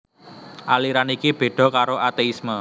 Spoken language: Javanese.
Aliran iki béda karo ateisme